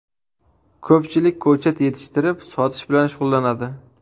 Ko‘pchilik ko‘chat yetishtirib, sotish bilan shug‘ullanadi.